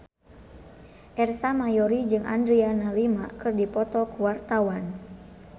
Ersa Mayori jeung Adriana Lima keur dipoto ku wartawan